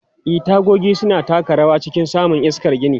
E, tagogi suna taka rawa a cikin samun iskar gini.